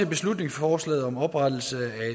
beslutningsforslaget om oprettelse af